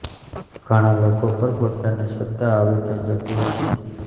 ઘણા લોકો પર પોતાની સત્તા હાવી થઈ જતી હોય છે